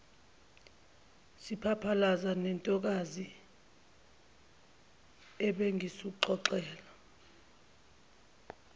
siphalaphala sentokazi ebengikuxoxela